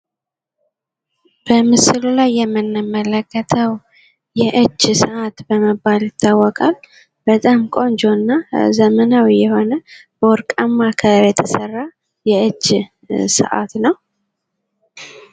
በምስሉ ላይ የምንመለከተው የእጅ ስዓት በመባል ይታወቃል። በጣም ቆንጆ እና ዘመናዊ የሆነ በወርቃማ ከለር የተሰራ የእጅ ስዓት ነው።